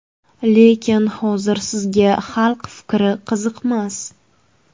Lekin hozir sizga xalq fikri qiziqmas.